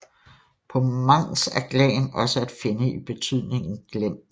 På manx er glan også at finde i betydningen glen